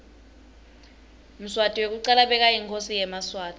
mswati wekucala bekayinkhosi yemaswati